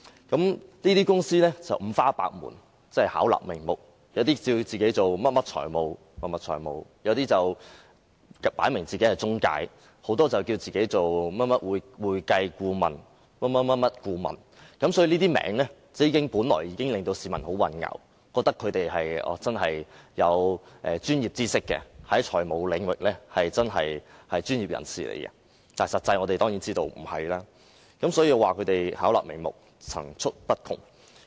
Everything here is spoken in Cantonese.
這些公司五花八門，巧立名目，有些自稱甚麼財務公司，有些則表明是中介公司，當中有很多人自稱會計或甚麼顧問，這些名稱已令市民感到十分混淆，以為他們真的具備專業知識，在財務領域是專業人士，但實際上，我們當然知道他們並非如此，他們巧立名目，層出不窮。